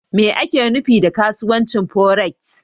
Me ake nufi da kasuwancin Foreks?